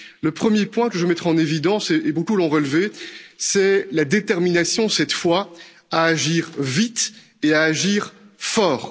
Le premier que je mettrai en évidence et beaucoup l'ont relevé c'est la détermination, cette fois, à agir vite et à agir fort.